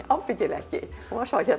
ábyggilega ekki hún var svo